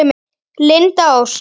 Linda Ósk.